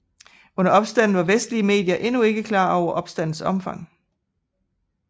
Under opstanden var vestlige medier endnu ikke klar over opstandens omfang